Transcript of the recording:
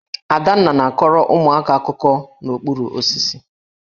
Adanna na-akọrọ ụmụaka akụkọ n'okpuru osisi